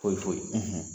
Foyi foyi